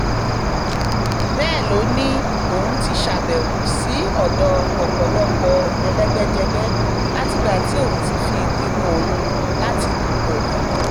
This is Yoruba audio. bẹ́ẹ̀ ló ní òun ti ṣàbẹ̀wò sí ọ̀dọ̀ ọ̀pọ̀lọpọ̀ ẹlẹ́gbẹ́jẹgbẹ́ látìgbà tí òun ti fi ìpinnu òun láti dúpọ̀ hàn